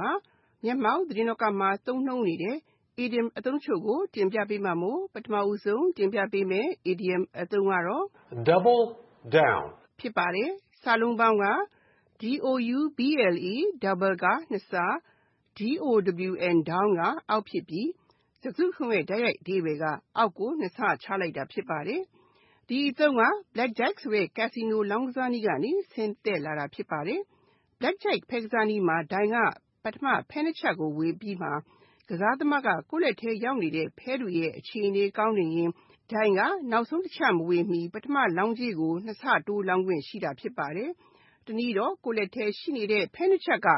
မှာ မျက်မှောက်သတင်းလောကမှာ သုံးနှုန်းနေတဲ့ အီဒီယံအသုံးတချို့ဖြစ်တဲ့ Double down, Put on the back burner နဲ့ Hang by a thread တို့ကို တင်ပြထား ပါတယ်။ (၁) Double down Double (နှစ်ဆ)၊down (အောက်) ဖြစ်ပြီး စကားစုတခုလုံးရဲ့ တိုက်ရိုက်အဓိပ္ပာယ်က အောက်ကိုနှစ်ဆချလိုက်တာ ဖြစ်ပါတယ်။ ဒီအသုံးက Blackjack ဆိုတဲ့ casino လောင်းကစားနည်းကနေ ဆင်းသက်လာတာ ဖြစ်ပါတယ်။ Blackjack ဖဲကစားနည်းမှာ ဒိုင်က ပထမ ဖဲနှစ်ချပ်ကိုဝေအပြီးမှာ ကစားသမားက ကိုယ့်လက်ထဲရောက်နေတဲ့ ဖဲတွေရဲ့အခြေအနေ ကောင်းနေရင် ဒိုင်က နောက်ဆုံးတချပ်မဝေမီ ကစားသမားက ပထမလောင်းကြေးကို နှစ်ဆတိုး လောင်းခွင့်ရှိတာ ဖြစ်ပါတယ်။ တနည်းတော့ ကိုယ့်လက်ထဲမှာ ရှိနေတဲ့ ဖဲနှစ်ချပ်က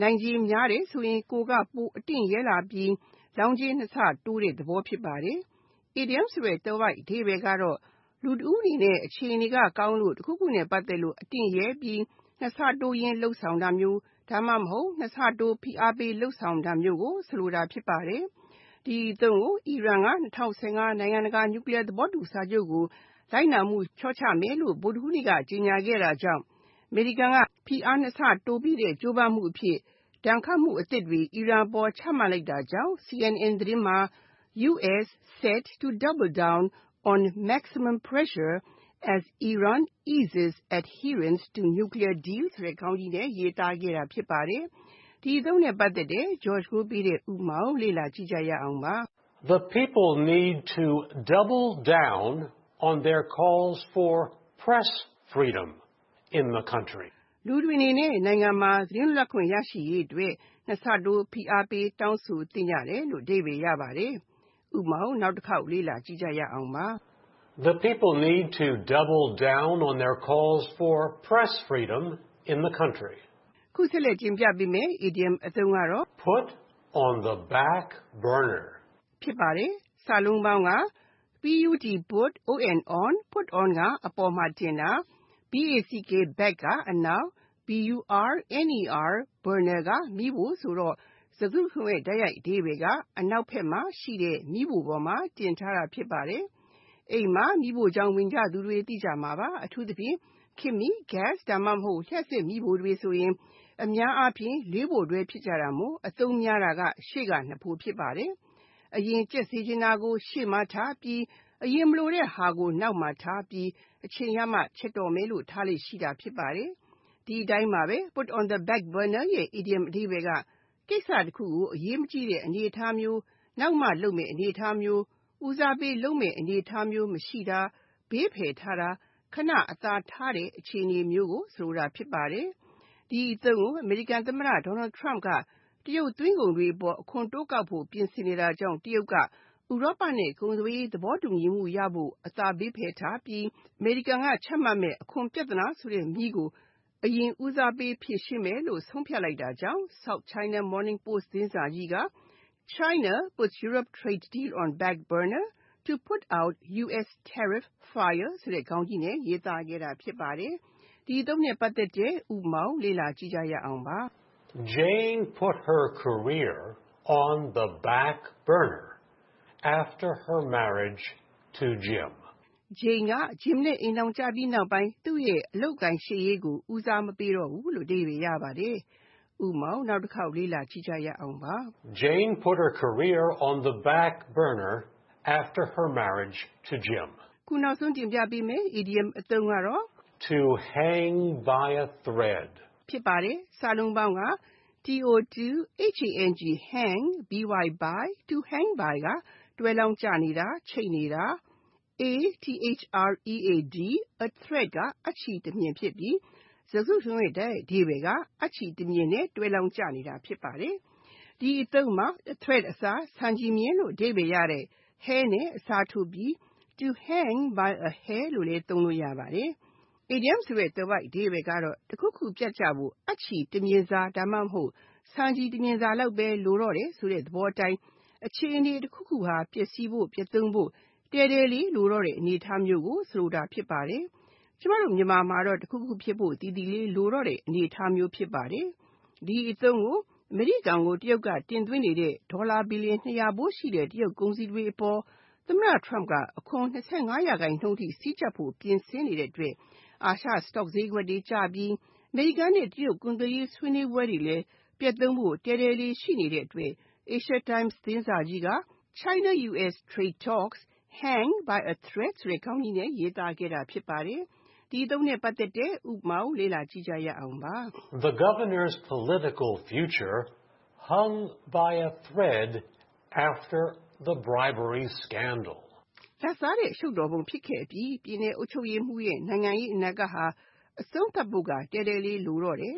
နိုင်ခြေများတယ်ဆိုရင် ကိုယ်က ပိုအတင့်ရဲလာပြီး လောင်းကြေးကို နှစ်ဆတိုးတဲ့သဘော ဖြစ်ပါတယ်။ အီဒီယံဆိုတဲ့ သွယ်ဝိုက်အဓိပ္ပာယ်က လူတဦးအနေနဲ့ အခြေအနေကောင်းလို့ တခုခုနဲ့ ပတ်သက်လို့ အတင့်ရဲပြီး နှစ်ဆတိုးရင်း လုပ်ဆောင်တာ၊ ဒါမှမဟုတ် နှစ်ဆတိုး ဖိအားပေး လုပ်ဆောင်တာမျိုးကို ဆိုလိုတာ ဖြစ်ပါတယ်။ ဒီအသုံးကို Iran က ၂၀၁၅ နိုင်ငံတကာ nuclear သဘောတူစာချုပ်ကို လိုက်နာမှုလျှော့ချမယ်လို့ ဗုဒ္ဒဟူးနေ့က ကြေငြာခဲ့တာကြောင့် အမေရိကန်က အပြင်းဆုံး ဖိအားကို နှစ်ဆတိုးပေးတဲ့ ကြိုးပမ်းမှုအဖြစ် ဒဏ်ခတ်မှုအသစ်တွေ Iran အပေါ် ထပ်ချလိုက်တာကြောင့် CNN သတင်းမှာ “US set to double down on 'maximum pressure' as Iran eases adherence to nuclear deal” ဆိုတဲ့ ခေါင်းကြီးနဲ့ ရေးသားခဲ့တာ ဖြစ်ပါတယ်။ ဥပမာ The people need to “double down” on their calls for press freedom in the country. လူတွေအနေနဲ့ နိုင်ငံမှာ သတင်းလွတ်လပ်ခွင့် ရရှိရေးအတွက် နှစ်ဆတိုး ဖိအားပေး တောင်းဆိုသင့်ကြတယ်။ (၂) Put on the back burner Put on (အပေါ်မှာတင်တာ) ၊ back (အနောက်)၊ burner (မီးဖို) ဖြစ်ပြီး၊ စကားစုတခုလုံးရဲ့ တိုက်ရိုက်အဓိပ္ပါယ်က အနောက်ဖက်မှာရှိတဲ့ မီးဖိုပေါ်မှာတင်ထားတာ ဖြစ်ပါတယ်။ အိမ်မှာ မီးဖိုချောင် ဝင်ကြသူတွေ သိကြမှာပါ။ အထူးသဖြင့် ခေတ်မှီ ဂက်စ် (gas) ဒါမှမဟုတ် လျှပ်စစ်မီးဖိုတွေဆိုရင် အများအားဖြင့် (၄) ဖိုတွဲ ဖြစ်ကြတာမို့ ၊ အသုံးများတာက ရှေ့က (၂) ဖို ဖြစ်ပါတယ်။ အရင်ချက်ပြုတ်ဖို့ လိုတာကို ရှေ့မီးဖိုမှာ တင်ချက်ပြီး၊အရင်မလိုတဲ့ဟာကိုတော့ နောက်မီးဖိုမှာထားပြီး၊ အချိန်ရမှာ ချက်တော့မယ်လို့ ဆိုင်းထားလေ့ ရှိပါတယ်။ ဒီအတိုင်းပါပဲ Put on the back burner ရဲ့ အီဒီယံအဓိပ္ပာယ်က ကိစ္စတခုကို အရေးမကြီးတဲ့ အနေအထားမျိုး၊ နောက်မှလုပ်မယ့် အနေအထားမျိုးမှာထားတာ ဖြစ်ပါတယ်။ တခုခုကို ဦးစားပေးလုပ်မယ့် အနေအထားမျိုး မရှိတာ၊ ဘေးဖယ်ထားတာ၊ ခဏ အသာထားတဲ့ အခြေအနေမျိုးကို ဆိုလိုပါတယ်။ ဒီအသုံးကို အမေရိကန်သမတ Donald Trump က တရုပ်သွင်းကုန်တွေအပေါ် အခွန်တိုးကောက်ဖို့ ပြင်ဆင်နေတာကြောင့် တရုတ်ကဥရောပနဲ့ ကုန်သွယ်ရေးသဘောတူညီမှု ရရှိဖို့ကို အသာခဏဘေးဖယ်ထားပြီး၊ အမေရိကန်က ချမှတ်မယ့် အခွန်ပြဿနာဆိုတဲ့မီးကို အရင်ဦးစားပေးဖြေရှင်းမယ်လို့ ဆုံးဖြတ်လိုက်တာကြောင့် South China Morning Post သတင်းစာကြီးက “China ‘puts Europe trade deal on back burner’ to put out US tariff fire “ ဆိုတဲ့ခေါင်းကြီးနဲ့ ရေးသားခဲ့တာ ဖြစ်ပါတယ်။ ဥပမာ Jane put her career “on the back burner” after her marriage to Jim. Jane က Jim နဲ့ အိမ်ထောင်ကျပြီးနောက်ပိုင်း သူ့ရဲ့ အသက်မွေးဝမ်းကျောင်းရှေ့ရေးကို ဦးစားမပေးတော့ဘူး။ (၃) To hang by a thread To hang by (တွဲလောင်းကျနေတာ ၊ချိတ်နေတာ) ၊ a thread (အပ်ချည်တမြှင်) ဖြစ်ပြီး စကားစုတခုလုံးရဲ့ တိုက်ရိုက်အဓိပ္ပါယ်က အပ်ချည်တမျှင်နဲ့ တွဲလောင်းကျနေတာ ဖြစ်ပါတယ်။ ဒီအသုံးမှာ a thread အစား ဆံပင်လို့အဓိပ္ပါယ်ရတဲ့ hair နဲ့ အစားထိုးပြီး To hang by a hair လို့လဲသုံးလို့ ရပါတယ်။ အီဒီယံအဓိပ္ပာယ်က တခုခုပြတ်ကျဖို့ အပ်ချည်တမြှင် ဒါမှမဟုတ် ဆံချည်တမြှင်စာလောက်ပဲ လိုတော့တယ်ဆိုတဲ့သဘောအတိုင်း အခြေအနေတခုခုဟာ ပျက်စီးဖို့၊ ပျက်သုဉ်းဖို့ တည်းတည်းလေး လိုတော့တဲ့အနေအထားမျိုးကို ဆိုလိုတာဖြစ်ပါတယ်။ ကျမတို့မြန်မာမှာတော့ တခုခုဖြစ်ဖို့ သီသီလေးလိုတော့တဲ့ အနေအထားမျိုး ဖြစ်ပါတယ်။ ဒီအသုံးကို အမေရိကန်ကို တရုတ်ကတင်သွင်းနေတဲ့ ဒေါ်လာ Billion ၂၀၀ ဖိုးရှိတဲ့ ကုန်စည်တွေ အပေါ်အခွန် ၂၅ % အထိ စည်းကြပ်ဖို့ သမ္မတ Trump က ပြင်ဆင်နေတဲ့အတွက် အာရှ stock ဈေးတွေ အပေါ်ရိုက်ခတ်မှုရှိလာပြီး အမေရိကန်နဲ့ တရုတ် ကုန်သွယ်ရေးဆွေးနွေးပွဲတွေလည်း ပျက်ဖို့တည်းတည်းလေး ဖြစ်နေတဲ့အတွက် Asia Times သတင်းစာကြီးက “China-US trade talks hang by a thread” ဆိုတဲ့ ခေါင်းကြီးနဲ့ ရေးသားခဲ့တာ ဖြစ်ပါတယ်။ ဥပမာ The governor’s political future “hung by a thread” after the bribery scandal. လာဘ်စားတဲ့အရှုပ်တော်ပုံ ဖြစ်ခဲ့အပြီး ပြည်နယ်အုပ်ချုပ်ရေးမှူးရဲ့ နိုင်ငံရေး အနာဂတ်ဟာ အဆုံးသတ်ဖို့ တည်းတည်းလေးလိုတော့တယ်